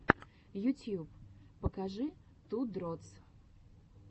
ютьюб покажи ту дротс